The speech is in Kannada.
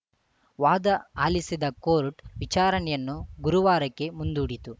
ವಾದ ಆಲಿಸಿದ ಕೋರ್ಟ್‌ ವಿಚಾರಣೆಯನ್ನು ಗುರುವಾರಕ್ಕೆ ಮುಂದೂಡಿತು